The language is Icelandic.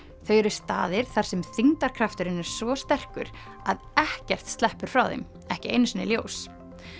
þau eru staðir þar sem þyngdarkrafturinn er svo sterkur að ekkert sleppur frá þeim ekki einu sinni ljós